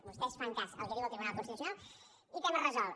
vostès fan cas al que diu el tribunal constitucional i tema resolt